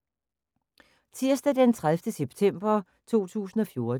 Tirsdag d. 30. september 2014